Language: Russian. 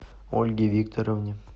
ольге викторовне